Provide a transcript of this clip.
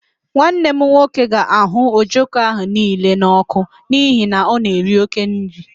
Nwanne m nwoke ga-ahụ ojoko niile ahụ n'ọkụ n'ihi na ọ na-eri oke nri